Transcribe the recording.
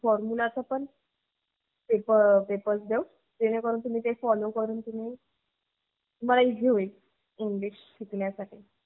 formula चा पन papers follow करून जे तुम्हाला easy करते.